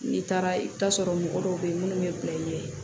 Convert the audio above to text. N'i taara i bɛ taa sɔrɔ mɔgɔ dɔw bɛ yen minnu bɛ bila i ɲɛ